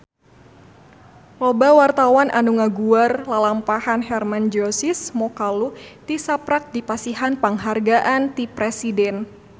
Loba wartawan anu ngaguar lalampahan Hermann Josis Mokalu tisaprak dipasihan panghargaan ti Presiden